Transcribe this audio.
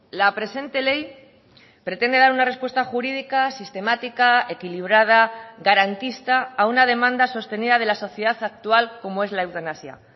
la presente ley pretende dar una respuesta jurídica sistemática equilibrada garantista a una demanda sostenida de la sociedad actual como es la eutanasia